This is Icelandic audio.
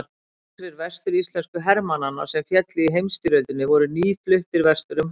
Nokkrir vestur-íslensku hermannanna sem féllu í heimsstyrjöldinni voru nýfluttir vestur um haf.